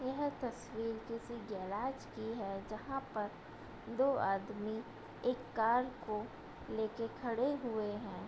यह तस्वीर किसी गैराज की है जहाँ पर दो आदमी एक कार को लेके खड़े हुए हैं |